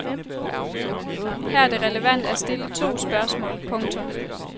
Her er det relevant at stille to spørgsmål. punktum